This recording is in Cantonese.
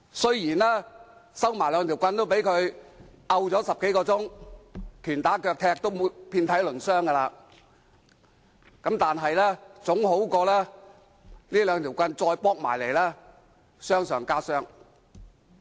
雖然收起兩根木棒也被他打了10多小時，拳打腳踢已經遍體鱗傷，但總好過再被這兩根木棒打，傷上加傷。